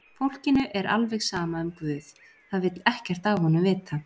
Fólkinu er alveg sama um Guð, það vill ekkert af honum vita.